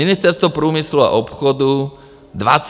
Ministerstvo průmyslu a obchodu 23 plus.